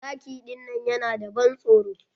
Zaki dinnan yana da ban tsoro.